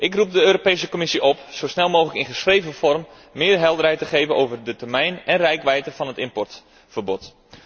Ik roep de Europese Commissie op zo snel mogelijk schriftelijk meer helderheid te geven over de termijn en reikwijdte van het importverbod.